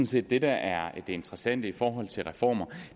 set at det der er det interessante i forhold til reformer